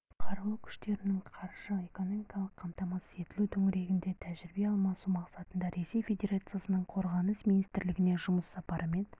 қарулы күштерінің қаржы-экономикалық қамтамасыз етілуі төңірегінде тәжірибе алмасу мақсатында ресей федерациясының қорғаныс министрлігіне жұмыс сапарымен